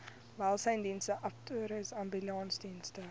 welsynsdienste abattoirs ambulansdienste